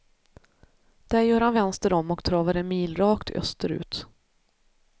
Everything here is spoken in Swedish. Där gör han vänster om och travar en mil rakt österut.